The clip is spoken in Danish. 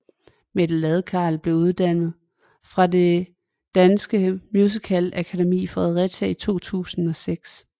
Mette Ladekarl blev uddannet fra Det Danske Musicalakademi i Fredericia i 2006